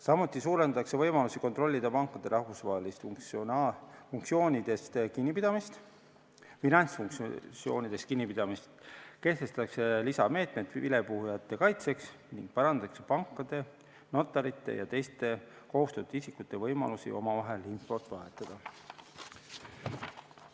Samuti suurendatakse võimalusi kontrollida pankade rahvusvahelistest finantsaktsioonidest kinnipidamist, kehtestatakse lisameetmed vilepuhujate kaitseks ning parandatakse pankade, notarite ja teiste kohustatud isikute võimalusi omavahel infot vahetada.